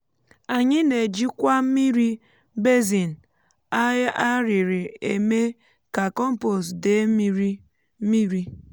anyị na-ejikwa mmiri basin a rịrị eme ka kọmpost dee um mmiri mmiri